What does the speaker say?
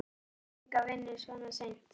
Ég fæ enga vinnu svona seint.